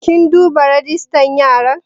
Kin duba rajistan yara?